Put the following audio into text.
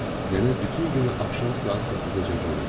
Nənə bütün günü axşam saat 8-əcən oynadı.